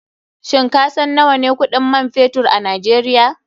Shin kasan nawane kuɗin man fetur a nigeria?